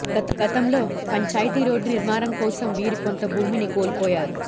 గతంలో పంచాయతీ రోడ్డు నిర్మాణం కోసం వీరు కొంత భూమిని కోల్పోయారు